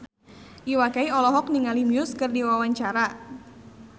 Iwa K olohok ningali Muse keur diwawancara